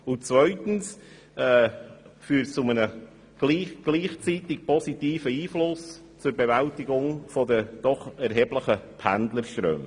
Zweitens führt das gleichzeitig zu einem positiven Einfluss auf die Bewältigung der doch erheblichen Pendlerströme.